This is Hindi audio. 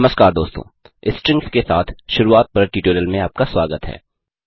नमस्कार दोस्तों स्ट्रिंग्स के साथ शुरूआत पर ट्यूटोरियल में आपका स्वागत है